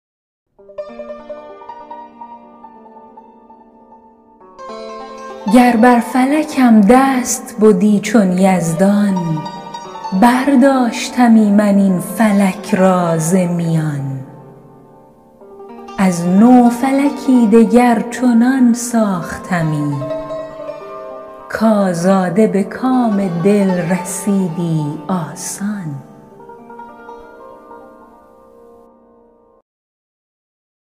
گر بر فلکم دست بدی چون یزدان برداشتمی من این فلک را ز میان از نو فلکی دگر چنان ساختمی کآزاده به کام دل رسیدی آسان